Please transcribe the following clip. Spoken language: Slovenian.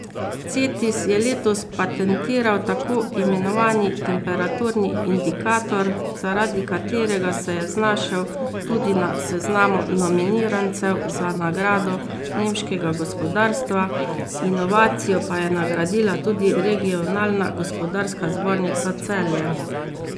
Cetis je letos patentiral tako imenovani temperaturni indikator, zaradi katerega se je znašel tudi na seznamu nominirancev za nagrado nemškega gospodarstva, inovacijo pa je nagradila tudi Regionalna gospodarska zbornica Celje.